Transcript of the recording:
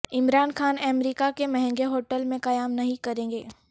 عمران خان امریکہ کے مہنگے ہوٹل میں قیام نہیں کریں گے